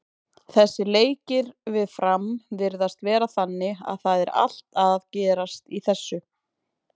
Þessir leikir við Fram virðast vera þannig að það er allt að gerast í þessu.